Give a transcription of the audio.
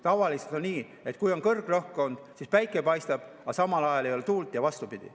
Tavaliselt on nii, et kui on kõrgrõhkkond, siis päike paistab, aga tuult ei ole, ja vastupidi.